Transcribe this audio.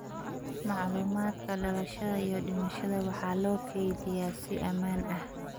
Macluumaadka dhalashada iyo dhimashada waxaa loo kaydiyaa si ammaan ah.